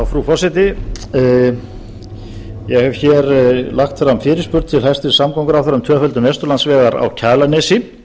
frú forseti ég hef hér lagt fram fyrirspurn til hæstvirts samgönguráðherra um tvöföldun vesturlandsvegar á kjalarnesi